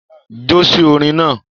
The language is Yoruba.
Jo si orin náà.